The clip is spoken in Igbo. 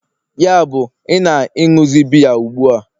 yabụ, ị na-ịnuzi biya ugbu a?